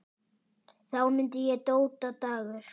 Þá mundi ég: Dóta Dagur.